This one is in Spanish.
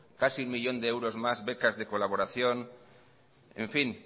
casi un millón de euros más becas de colaboración en fin